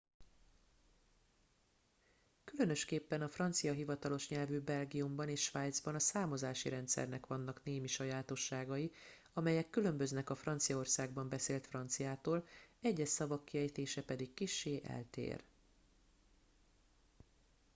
különösképpen a francia hivatalos nyelvű belgiumban és svájcban a számozási rendszernek vannak némi sajátosságai amelyek különböznek a franciaországban beszélt franciától egyes szavak kiejtése pedig kissé eltér